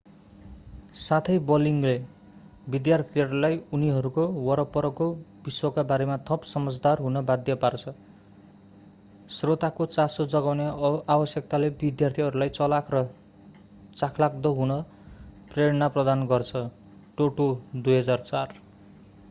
साथै ब्लगिङले विद्यार्थीहरूलाई उनीहरूको वरपरको विश्वका बारेमा थप समझदार हुन बाध्य पार्छ।” श्रोताको चासो जगाउने आवश्यकताले विद्यार्थीहरूलाई चलाख र चाखलाग्दो हुन प्रेरणा प्रदान गर्छ toto 2004।